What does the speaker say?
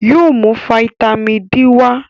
Yóò mú fataímìn D wá.